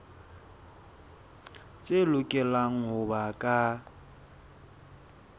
tse lokelang ho ba ka